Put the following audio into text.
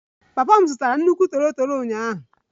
Papa m zụtara nnukwu toro toro ụnyaahụ